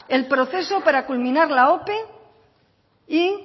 el proceso para culminar la ope y